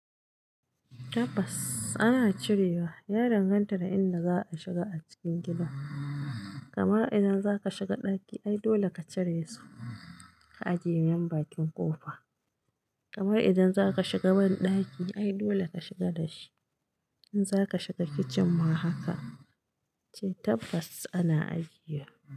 Tabbas ana cirewa, danganta da inda za a shiga a cikin gida. Kamar idan zaka shiga ɗaki, ai dole ka cire su ka ajiye nan bakin ƙofa. Kamar idan zaka shiga wani ɗaki ai dole ka shiga da shi. In zaka shiga kicin ma haka, ce tabbas ana ajiye.